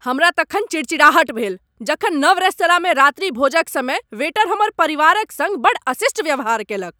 हमरा तखन चिड़चिड़ाहट भेल जखन नव रेस्तराँमे रात्रिभोजक समय वेटर हमर परिवारक सङ्ग बड्ड अशिष्ट व्यवहार कयलक।